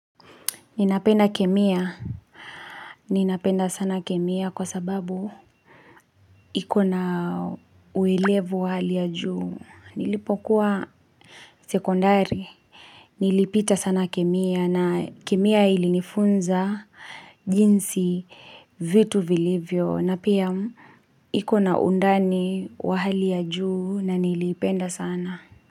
Ninapenda kemia, ninapenda sana kemia kwa sababu ikona uwelevu wa hali ya juu, nilipokuwa sekondari, nilipita sana kemia na kemia ilinifunza jinsi vitu vilivyo na pia ikona undani wa hali ya juu na nilipenda sana.